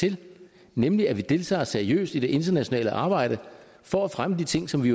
til nemlig at vi deltager seriøst i det internationale arbejde for at fremme de ting som vi